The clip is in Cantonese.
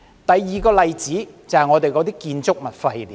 第二個例子，就是建築物廢料。